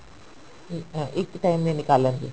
ਠੀਕ ਹੈ ਇੱਕ time ਦੇ ਨਿਕਾਲਣ ਦੀ